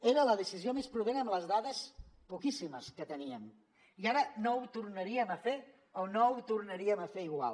era la decisió més prudent amb les dades poquíssimes que teníem i ara no ho tornaríem a fer o no ho tornaríem a fer igual